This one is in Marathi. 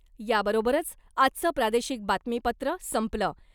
याबरोबरच आजचं प्रादेशिक बातमीपत्र संपलं .